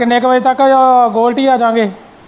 ਕਿੰਨੇ ਕ ਵਜੇ ਤੱਕ ਅਹ ਗੋਲਡੀ ਆਜਾਗੇ।